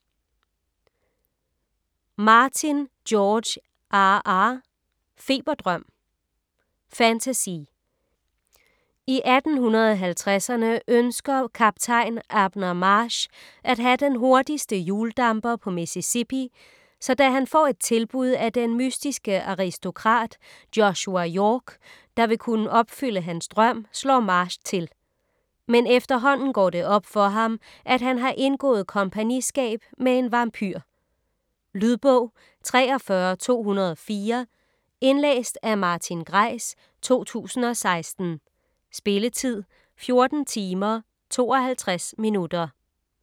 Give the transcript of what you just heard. Martin, George R. R.: Feberdrøm Fantasy. I 1850'erne ønsker Kaptajn Abner Marsh at have den hurtigste hjuldamper på Mississippi, så da han får et tilbud af den mystiske aristokrat, Joshua York, der vil kunne opfylde hans drøm, slår Marsh til. Men efterhånden går det op for ham, at han har indgået kompagniskab med en vampyr. Lydbog 43204 Indlæst af Martin Greis, 2016. Spilletid: 14 timer, 52 minutter.